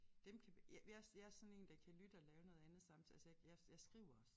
Dem kan jeg jeg jeg sådan én der kan lytte og lave noget andet samtidig altså jeg jeg jeg skriver også